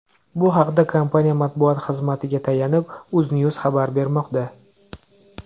Bu haqda, kompaniya matbuot xizmatiga tayanib, UzNews xabar bermoqda .